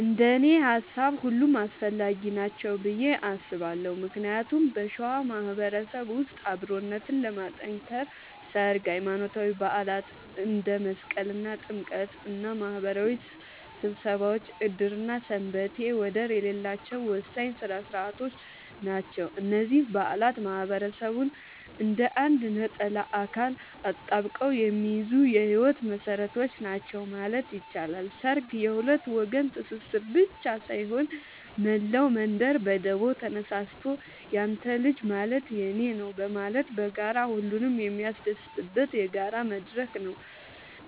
እንደኔ ሃሳብ ሁሉም አስፈላጊ ናቸው ብዬ አስባለሁ ምክንያቱም በሸዋ ማህበረሰብ ውስጥ አብሮነትን ለማጥከር ሠርግ፣ ሃይማኖታዊ በዓላት እንደ መስቀልና ጥምቀት እና ማህበራዊ ስብሰባዎች ዕድርና ሰንበቴ ወደር የሌላቸው ወሳኝ ሥነ ሥርዓቶች ናቸው። እነዚህ በዓላት ማህበረሰቡን እንደ አንድ ነጠላ አካል አጣብቀው የሚይዙ የህይወት መሰረቶች ናቸው ማለት ይቻላል። ሠርግ የሁለት ወገን ትስስር ብቻ ሳይሆን፣ መላው መንደር በደቦ ተነሳስቶ ያንተ ልጅ ማለት የኔ ነዉ በማለት በጋራ ሁሉንም የሚያስደስትበት የጋራ መድረክ ነው።